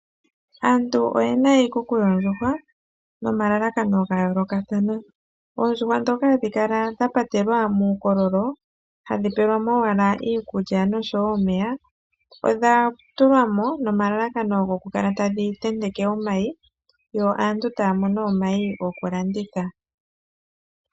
Aantu oyena iikuku yoondjuhwa nomalalakano gayoolokathana. Oondjuhwa ndhoka hadhi kala dhapatelwa muukololo hadhi pewelwa mo iikulya nomeya odha tulwa mo nomalalakano dhikale tadhi ntenteke omayi, yo aantu taya mono omayi gokulanditha.